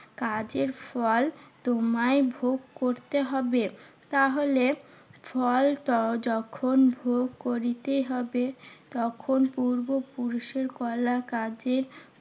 কাজের ফল তোমায় ভোগ করতে হবে। তাহলে ফল যখন ভোগ করিতে হবে তখন পূর্বপুরুষের করা কাজের